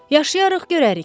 Yaşayarıq görərik.